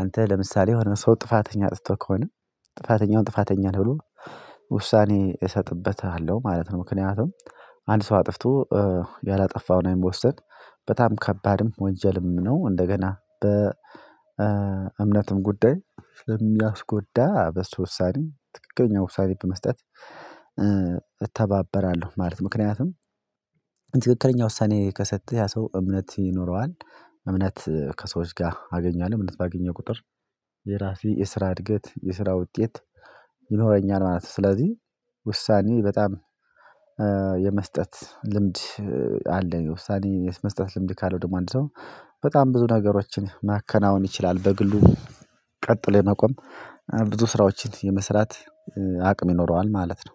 አንተ ለምሳሌ የሆነ ሰው ጥፋተኛ አጥፍቶ ከሆነ ጥፋተኛውን ጥፋተኛ ነህ ብሎ ውሳኔ እሰጥበታለሁ ማለት ነው። ምክንያቱም አንድ ሰው አጥፍቶ ያላጠፋው ላይ መወሰን በጣም ከባድም ወንጀልም ነው። እንደገና በ እምነትም ጉዳይ ለሚያስጎዳ በሱ ውሳኔ ትክክለኛ ውሳኔ በመስጠት እተባበራለሁ ማለት ነው። ምክንያቱም ትክክለኛ ውሳኔ ከሰጠህ ያ ሰው እምነት ይኖረዋል እምነት ከሰዎች ጋር አገኛለሁ እምነት ባገኘው ቁጥር የራሴ የስራ እድገት የስራ ውጤት ይኖረኛል ማለት ነው። ስለዚህ ውሳኔ በጣም የመስጠት ልምድ አለኝ። ውሳኔ የመስጠት ልምድ ካለው ደግሞ አንድ ሰው በጣም ብዙ ነገሮችን ማከናወን ይችላል። በግሉ ቀጥሎ የመቆም ብዙ ስራዎችን የመስራት አቅም ይኖረዋል ማለት ነው።